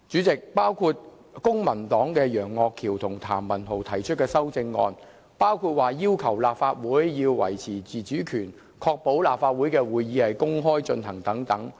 公民黨的楊岳橋議員和譚文豪議員建議修訂《議事規則》，包括訂明立法會須維持自主權，以及立法會會議須公開舉行。